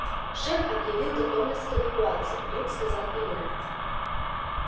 шеф объявил готовность к эвакуации вдруг сказал илья